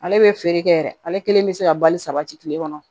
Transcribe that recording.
Ale bɛ feere kɛ yɛrɛ ale kelen bɛ se ka bali sabati tile kɔnɔ